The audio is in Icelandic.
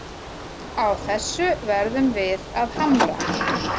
Á þessu verðum við að hamra